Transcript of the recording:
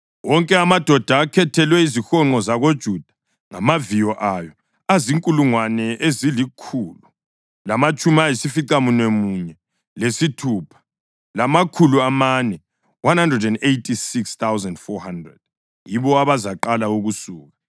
Wonke amadoda akhethelwe izihonqo zakoJuda, ngamaviyo awo, azinkulungwane ezilikhulu lamatshumi ayisificamunwemunye lesithupha, lamakhulu amane (186,400). Yibo abazaqala ukusuka.